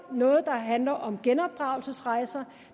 noget der handler om genopdragelsesrejser